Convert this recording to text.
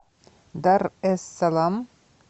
дар эс салам